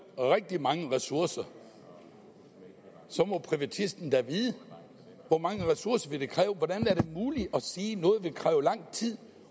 rigtig mange ressourcer så må privatisten da vide hvor mange ressourcer det vil kræve hvordan er det muligt at sige at noget vil kræve lang tid